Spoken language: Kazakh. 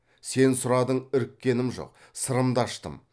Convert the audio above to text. сен сұрадың іріккенім жоқ сырымды аштым